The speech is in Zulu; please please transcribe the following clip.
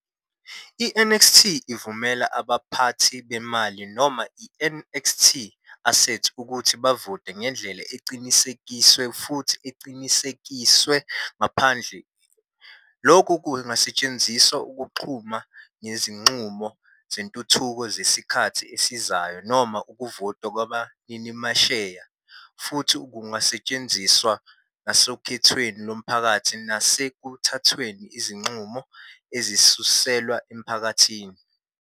I-NXT ivumela abaphathi bemali noma i-NXT-Assets ukuthi bavote ngendlela eqinisekisiwe futhi eqinisekiswe ngaphandle. Lokhu kungasetshenziselwa ukunquma ngezinqumo zentuthuko zesikhathi esizayo noma ukuvota kwabaninimasheya, futhi Kungasetshenziswa nasokhethweni lomphakathi nasekuthathweni kwezinqumo ezisuselwa emphakathini.